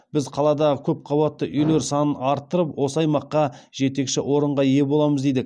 біз қаладағы көпқабатты үйлер санын арттырып осы аймаққа жетекші орынға ие боламыз дейді